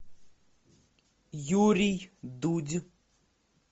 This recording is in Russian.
юрий дудь